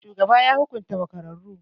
Shugaban ya hukunta makararru.